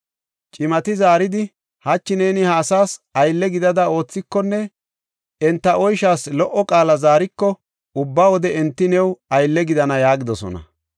Cimati zaaridi, “Hachi neeni ha asaas aylle gidada oothikonne enta oyshaas lo77o qaala zaariko, ubba wode enti new aylle gidana” yaagidosona.